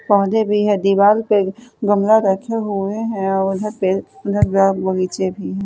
पौधे भी है दीवाल पे गमला रखे हुए हैं औ उधर पे उधर बाग बगीचे भी हैं।